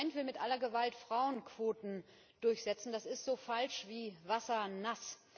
Das Parlament will mit aller Gewalt Frauenquoten durchsetzen, das ist so falsch wie Wasser nass!